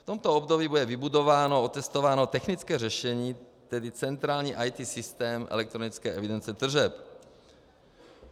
V tomto období bude vybudováno a otestováno technické řešení, tedy centrální IT systém elektronické evidence tržeb.